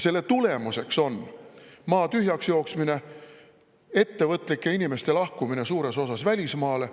Selle tulemuseks on maa tühjaks jooksmine, ettevõtlike inimeste lahkumine suures osas välismaale.